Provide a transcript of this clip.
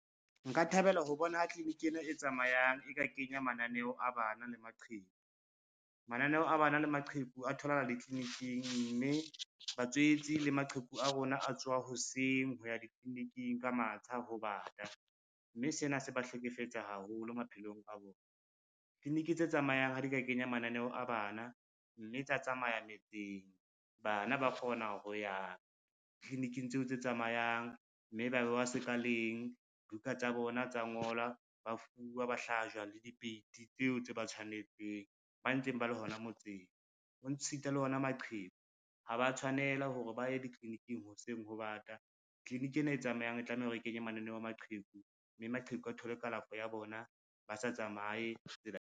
Nka thabela ho bona tliliniki ena e tsamayang e ka kenya mananeo a bana le maqheku. Mananeho a bana le maqheku a tholahala ditliliniking, mme batswetsi le maqheku a rona a tsoha hoseng ho ya ditliliniking ka matsha ho bata, mme sena se ba hlekefetsa haholo maphelong a bona. Tliliniki tse tsamayang ha di ka kenya mananeo a bana, mme tsa tsamaya metseng, bana ba kgona ho ya tliliniking tseo tse tsamayang, mme ba bewa sekaleng, buka tsa bona tsa ngolwa, ba fuwa ba hlajwa le dipeiti tseo tse ba tshwanetseng, ba ntseng ba le hona motseng. Ho ntshita le ona maqheku, ha ba tshwanela hore ba ye ditliliniking hoseng ho bata, tliliniki ena e tsamayang e tlameha hore e kenye mananeo a maqheku, mme maqheku a thole kalafo ya bona ba sa tsamaye tsela .